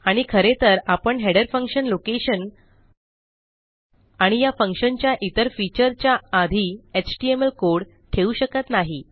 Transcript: आणि खरेतर आपण हेडर फंक्शन लोकेशन आणि या फंक्शनच्या इतर फीचरच्या आधी एचटीएमएल कोड ठेवू शकत नाही